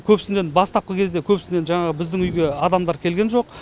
көбісінен бастапқы кезде көбісінен жаңағы біздің үйге адамдар келген жоқ